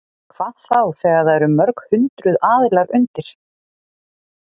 Hvað þá þegar það eru mörg hundruð aðilar undir?